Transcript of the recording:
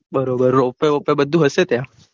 બરોબર રોપવે બોપવે બધું હશે ત્યાં